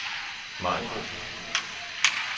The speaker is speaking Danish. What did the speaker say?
Maribo